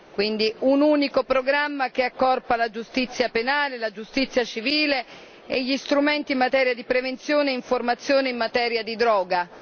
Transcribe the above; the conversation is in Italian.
Quindi un unico programma che accorpa la giustizia penale, la giustizia civile e gli strumenti in materia di prevenzione e informazione in materia di droga.